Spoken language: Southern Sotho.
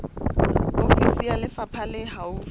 ofisi ya lefapha le haufi